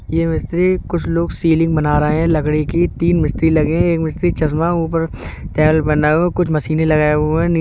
ये वैसे कुछ लोग सीलिंग बना रहे हैं लकड़ी की। तीन मिस्त्री लगे हैं। एक मिस्त्री चश्मा ऊपर तहल बनाओ कुछ मशीनें लगाए हुए हैं। नी --